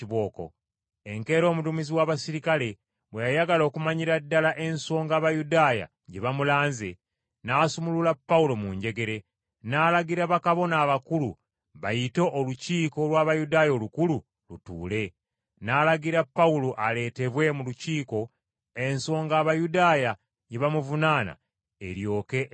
Enkeera omuduumizi w’abaserikale bwe yayagala okumanyira ddala ensonga Abayudaaya gye bamulanze, n’asumulula Pawulo mu njegere, n’alagira bakabona abakulu bayite Olukiiko lw’Abayudaaya Olukulu lutuule. N’alagira Pawulo aleetebwe mu Lukiiko ensonga Abayudaaya gye bamuvunaana eryoke etegeerebwe.